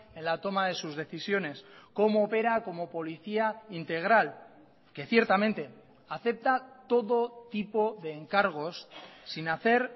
en la toma de sus decisiones cómo opera como policía integral que ciertamente acepta todo tipo de encargos sin hacer